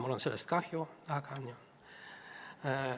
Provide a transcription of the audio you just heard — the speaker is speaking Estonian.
Mul on sellest kahju, aga jah.